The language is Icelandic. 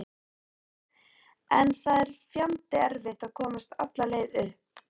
En það er fjandi erfitt að komast alla leið upp.